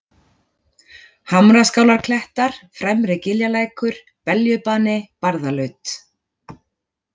Hamraskálarklettar, Fremri-Giljalækur, Beljubani, Barðalaut